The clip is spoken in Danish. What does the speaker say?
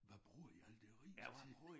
Hvad bruger I alt det ris til?